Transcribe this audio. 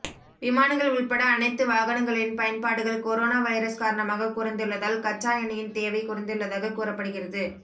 விமானங்கள் உள்பட அனைத்து வாகனங்களின் பயன்பாடுகள் கொரோனா வைரஸ் காரணமாக குறைந்துள்ளதால் கச்சா எண்ணெயின் தேவை குறைந்துள்ளதாக கூறப்படுகிறது